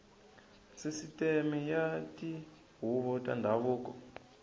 sisiteme ya tihuvo ta ndhavuko